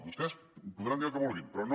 vostès podran dir el que vulguin però no